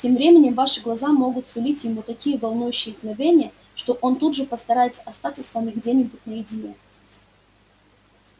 тем временем ваши глаза могут сулить ему такие волнующие мгновения что он тут же постарается остаться с вами где-нибудь наедине